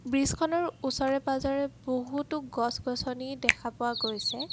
ব্ৰীজখনৰ ওচৰে পাজৰে বহুতো গছ-গছনি দেখা পোৱা গৈছে।